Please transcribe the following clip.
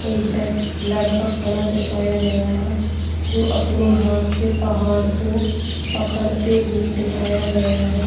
एक बैग लड़का खड़ा हुआ दिखाया गया है जो अपने हाथ से पहाड़ को पकड़ते हुए दिखाया गया है।